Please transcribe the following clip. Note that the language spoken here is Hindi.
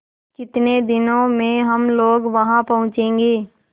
कितने दिनों में हम लोग वहाँ पहुँचेंगे